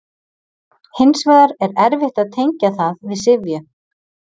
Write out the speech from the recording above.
Hins vegar er erfitt að tengja það við syfju.